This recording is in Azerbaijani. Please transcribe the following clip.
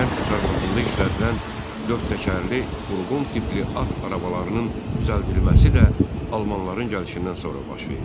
Kənd təsərrüfatında işlədilən dörd təkərli, furqon tipli at arabalarının düzəldilməsi də almanların gəlişindən sonra baş verdi.